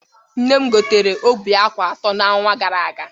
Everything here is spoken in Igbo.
Nne m gotere óbì ákwà atọ n'ọnwa gara aga.